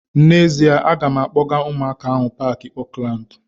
N'ezie, a ga m akpọga ụmụaka ahu paaki Oakland